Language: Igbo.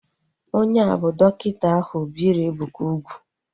Onye a bụ dọkịta ahu biri Ebuka ugwu